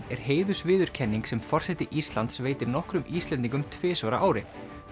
er heiðursviðurkenning sem forseti Íslands veitir nokkrum Íslendingum tvisvar á ári